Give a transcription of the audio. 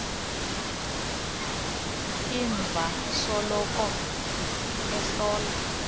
iv asoloko ehlola